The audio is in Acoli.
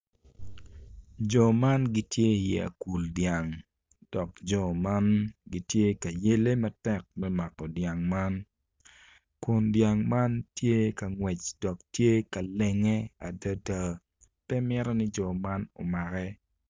Jo man gitye i akul dyang dok jo man gitye ka yele matek me mako dyang man kun dyang man tye ka ngwec dok tye ka lenge adada pe mito ni jo man omake.